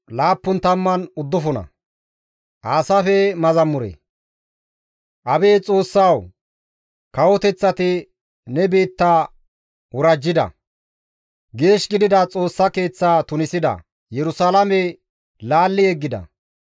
Abeet Xoossawu! Kawoteththati ne biitta worajjida; geeshsha gidida Xoossa Keeththa tunisida; Yerusalaame laalli yeggida.